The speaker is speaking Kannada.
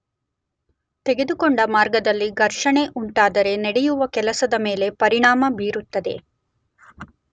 ತೆಗೆದು ಕೊಂಡ ಮಾರ್ಗದಲ್ಲಿ ಘರ್ಷಣೆ ಉಂಟಾದರೆ ನಡೆಯುವ ಕೆಲಸದ ಮೇಲೆ ಪರಿಣಾಮ ಬೀರುತ್ತದೆ